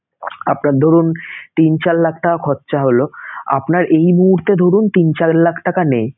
আপনার ধরুন তিন চার লাখ টাকা খরচা হলোআপনার এই মুহূর্তে ধরুন তিন চার লাখ টাকা নেই